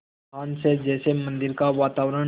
आह्वान से जैसे मंदिर का वातावरण